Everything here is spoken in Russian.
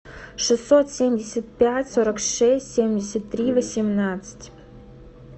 шестьсот семьдесят пять сорок шесть семьдесят три восемнадцать